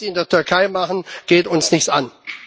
Was sie in der Türkei machen, geht uns nichts an.